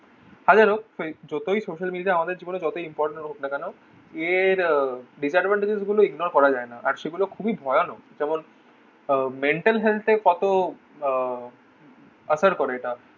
হাজার হোক যতই social media আমাদের জীবনে যতই important হোক না কেন এর disadvantage গুলো ignore করা যায় না আর সেগুলো খুবই ভয়ানক যেমন আহ mental health এ কত আহ আসার করে এটা